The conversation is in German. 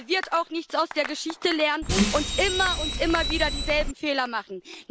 Der wird auch nichts aus der Geschichte lernen und immer und immer wieder dieselben Fehler machen.